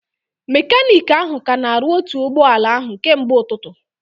Mekaniiki ahụ ka na-arụ otu ụgbọala ahụ kemgbe ụtụtụ